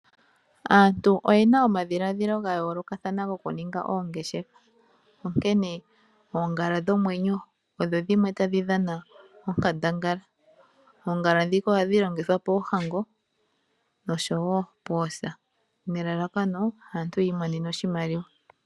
Aantu oyena omadhiladhilo gayoolokathana gokuninga oongeshefa. Onkene oongala dhomwenyo odho dhimwe tadhi dhana onkandangala. Oongala ndhika ohadhi longithwa poohango nosho wo poosa nelalakano opo aantu yi imonene oshimaliwa.